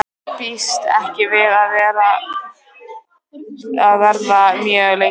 Býst ekki við að verða mjög lengi.